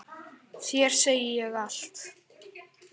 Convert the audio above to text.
Þér segi ég allt.